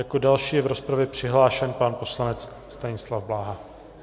Jako další je v rozpravě přihlášen pan poslanec Stanislav Blaha.